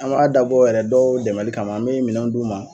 An b'a dabɔ yɛrɛ dɔw dɛmɛli kama an bɛ minɛn d'u ma